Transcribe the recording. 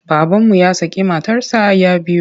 Babanmu ya şakı matarsa ya biyu.